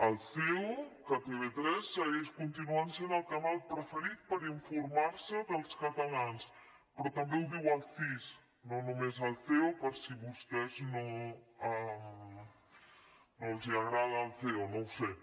el ceo que tv3 continua sent el canal preferit per informar se dels catalans però també ho diu el cis no només el ceo per si a vostès no els agrada el ceo no ho sé